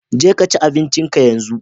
Je kaci abincin ka yanzu!